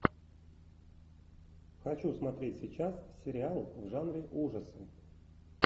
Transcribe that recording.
хочу смотреть сейчас сериал в жанре ужасы